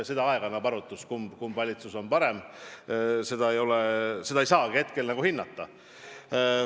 Aeg annab arutust, kumb valitsus on parem, seda ei saa praegu hinnata.